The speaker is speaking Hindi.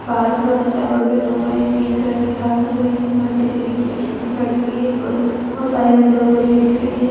बाहर पूरा कचरा है ग्रीन कलर की घास लग रही है वहाँ जे.सी.बी. की मशीन भी खड़ी हुई है और बहोत सारी विंडोज़ बनी हुई दिख रही है।